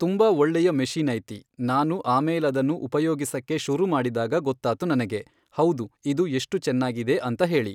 ತುಂಬ ಒಳ್ಳೆಯ ಮೆಷೀನ್ ಐತಿ ನಾನು ಆಮೇಲದನ್ನು ಉಪಯೋಗಿಸಕ್ಕೆ ಶುರು ಮಾಡಿದಾಗ ಗೊತ್ತಾತು, ನನಗೆ ಹೌದು ಇದು ಎಷ್ಟು ಚೆನ್ನಾಗಿದೆ ಅಂತ ಹೇಳಿ